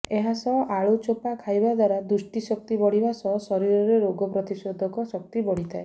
ଏହାସହ ଆଳୁ ଚୋପା ଖାଇବା ଦ୍ୱାରା ଦୃଷ୍ଟିଶକ୍ତି ବଢ଼ିବା ସହ ଶରୀରର ରୋଗ ପ୍ରତିରୋଧକ ଶକ୍ତି ବଢ଼ିଥାଏ